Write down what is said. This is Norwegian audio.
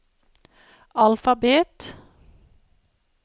alfabet